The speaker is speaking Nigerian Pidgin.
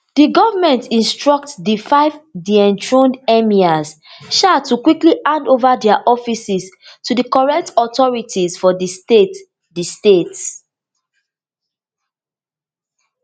di govnor instruct di five dethroned emirs um to quickly hand ova dia offices to di correct authorities for di state di state